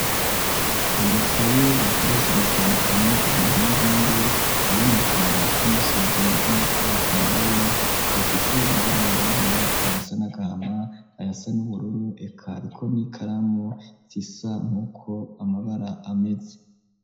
Udukaye, bakoresha mu kwandikamwo, ibintu n'ibindi, harimwo, kuraba uko, umunsi wagenze, n'uko watanguye, dufise amabara yirabura, ayasa n’agahama, ayasa n'ubururu, eka hariko n'ikaramu, zisa nk'uko, amabara ameze.